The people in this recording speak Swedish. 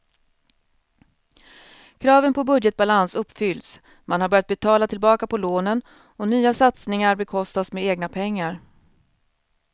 Kraven på budgetbalans uppfylls, man har börjat betala tillbaka på lånen och nya satsningar bekostas med egna pengar.